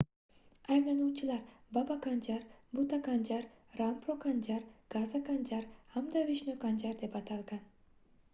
ayblanuvchilar baba kanjar buta kanjar rampro kanjar gaza kanjar hamda vishnu kanjar deb atalgan